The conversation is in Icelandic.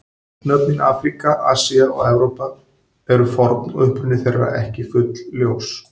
Nöfnin Afríka, Asía og Evrópa eru forn og uppruni þeirra ekki fullljós.